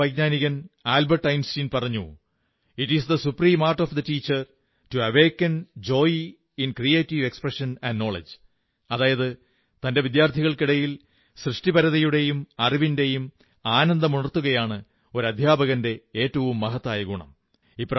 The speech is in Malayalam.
മഹാനായ വൈജ്ഞാനികൻ ആൽബർട്ട് ഐൻസ്റ്റീൻ പറഞ്ഞു it is the supreme art of the teacher to awaken joy in creative expression and knowledge അതായത് തന്റെ വിദ്യാർഥികൾക്കിടയിൽ സൃഷ്ടിപരതയുടെയും അറിവിന്റെയും ആനന്ദമുണർത്തുകയാണ് ഒരു അധ്യാപകന്റെ ഏറ്റവും മഹത്തായ ഗുണം